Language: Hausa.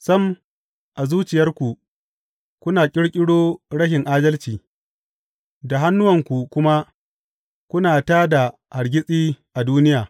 Sam, a zuciyarku kuna ƙirƙiro rashin adalci, da hannuwanku kuma kuna tā da hargitsi a duniya.